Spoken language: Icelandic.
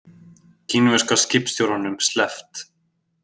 Kínverska skipstjóranum sleppt